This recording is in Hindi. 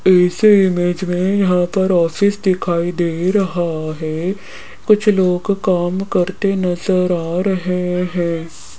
इस इमेज में यहां पर ऑफिस दिखाई दे रहा है कुछ लोग काम करते नजर आ रहे हैं।